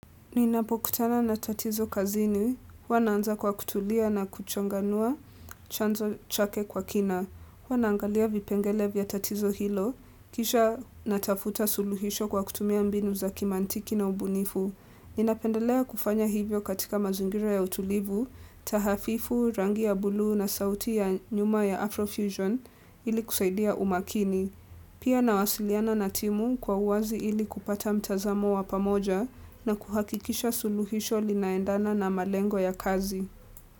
Ninapokutana na tatizo kazini, huwa naanza kwa kutulia na kuchanganua chanzo chake kwa kina. Huwa naangalia vipengele vya tatizo hilo, kisha natafuta suluhisho kwa kutumia mbinu za kimantiki na ubunifu. Ninapendelea kufanya hivyo katika mazingira ya utulivu, tahafifu, rangi ya buluu na sauti ya nyuma ya Afrofusion ili kusaidia umakini. Pia nawasiliana na timu kwa uwazi ili kupata mtazamo wa pamoja na kuhakikisha suluhisho linaendana na malengo ya kazi.